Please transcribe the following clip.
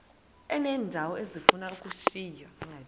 uneendawo ezifuna ukushiywa